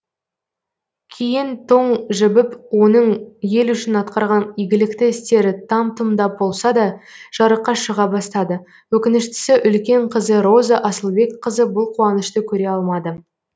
кейін тоң жібіп оның ел үшін атқарған игілікті істері там тұмдап болса да жарыққа шыға бастады өкініштісі үлкен қызы роза асылбекқызы бұл қуанышты көре алмады